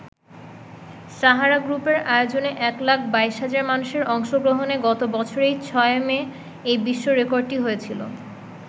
সাহারা গ্রুপের আয়োজনে এক লাখ ২২ হাজার মানুষের অংশগ্রহণে গত বছরের ৬ই মে এই বিশ্ব রেকর্ডটি হয়েছিল।